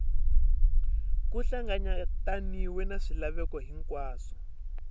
ku hlanganyetaniwe na swilaveko hinkwaswo